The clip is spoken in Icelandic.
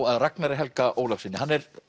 að Ragnari Helga Ólafssyni hann er